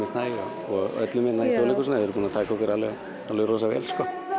Snæ og öllum hérna í Þjóðleikhúsinu þau eru búin að taka okkur rosa vel